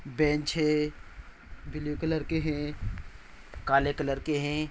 Bench है। Blue colour के हैं। काले कलर के हैं।